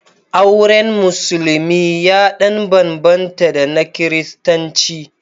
Auren Musulmi ya ɗan bambanta da na Kiristanci.